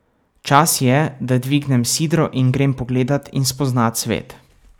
Čas je, da dvignem sidro in grem pogledat in spoznat svet.